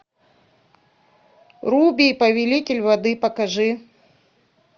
руби повелитель воды покажи